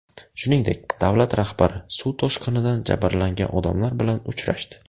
Shuningdek, davlat rahbari suv toshqinidan jabrlangan odamlar bilan uchrashdi .